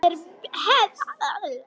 Það er hefð!